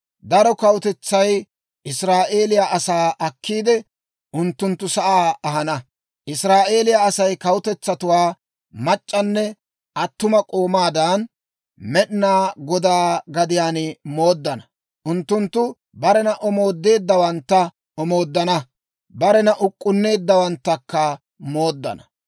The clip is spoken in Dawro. Daro kawutetsay Israa'eeliyaa asaa akkiide, unttunttu sa'aa ahana; Israa'eeliyaa Asay kawutetsatuwaa mac'c'anne attuma k'oomaadan, Med'inaa Godaa gadiyaan mooddana. Unttunttu barena omoodeeddawantta omooddana; barena uk'k'unneeddawanttakka mooddana.